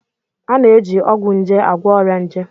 A na-eji ọgwụ nje agwọ ọrịa nje.